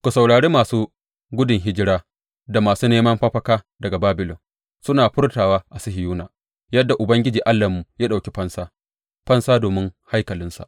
Ku saurari masu gudun hijira da masu neman mafaka daga Babilon suna furtawa a Sihiyona yadda Ubangiji Allahnmu ya ɗauki fansa, fansa domin haikalinsa.